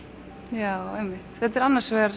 já einmitt þetta er annars vegar